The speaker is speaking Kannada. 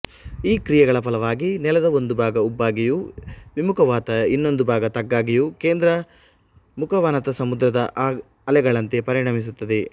ಈ ಕ್ರಿಯೆಗಳ ಫಲವಾಗಿ ನೆಲದ ಒಂದು ಭಾಗ ಉಬ್ಬಾಗಿಯೂ ವಿಮುಖಾವನತ ಇನ್ನೊಂದು ಭಾಗ ತಗ್ಗಾಗಿಯೂ ಕೇಂದ್ರಮುಖಾವನತಸಮುದ್ರದ ಅಲೆಗಳಂತೆಪರಿಣಮಿಸುತ್ತದೆ